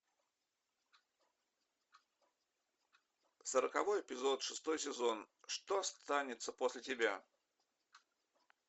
сороковой эпизод шестой сезон что останется после тебя